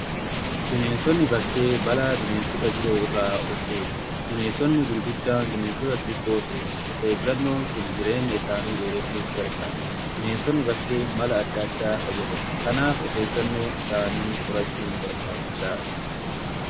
bineensonni bakkee balaa bineensota biroo irraa of eegu. bineensonni gurguddaan bineensota xixiqqoo sooratu. of eeggannoon kun jireenya isaanii dheeressuuf gargaara. bineensonni bakkee mala addaa addaa fayyadamu. kanaaf of eeggannoo isaanii qorachuu barbaachisaadha.